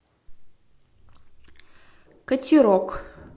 катерок